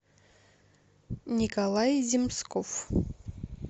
николай земсков